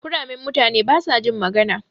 Kuramen mutane basajin magana.